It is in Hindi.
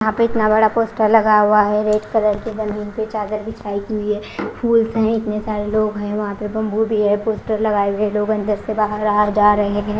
यहां पे इतना बड़ा पोस्टर लगा हुआ है रेड कलर की। जमीन पर चादर बिछाई की हुई है। फूल हैं इतने सारे लोग हैं। वहां पे बंबू भी हैं। पोस्टर लगाए हुए हैं। लोग अंदर से बाहर आ जा रहे हैं।